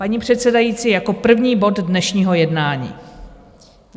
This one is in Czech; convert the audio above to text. Paní předsedající, jako první bod dnešního jednání.